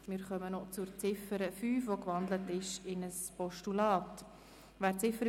Wir kommen noch zu Ziffer 5, die in ein Postulat gewandelt wurde.